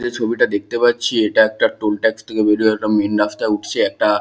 এই ছবিটা দেখতে পাচ্ছি এটা একটা টোল টেক্স থেকে বেরিয়ে একটা মেন রাস্তায় উঠছে একটা।